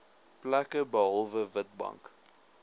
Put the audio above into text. plekke behalwe witbank